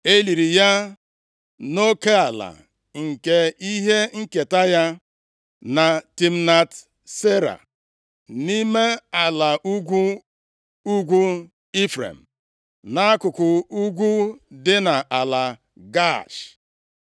E liri ya nʼoke ala nke ihe nketa ya, na Timnat Sera, + 24:30 \+xt Jos 19:50; Nkp 2:9\+xt* nʼime ala ugwu ugwu Ifrem, nʼakụkụ ugwu dị nʼala Gaash.